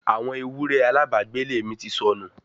àwọn ewúrẹ́ alábàágbélé mi ti sọnù